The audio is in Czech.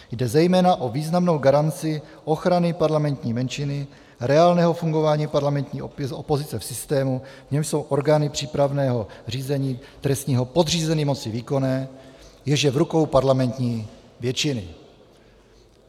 Jde zejména o významnou garanci ochrany parlamentní menšiny, reálného fungování parlamentní opozice v systému, v němž jsou orgány přípravného řízení trestního podřízeny moci výkonné, jež je v rukou parlamentní většiny.